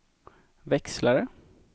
växlare